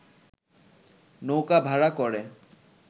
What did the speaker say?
নৌকা ভাড়া করে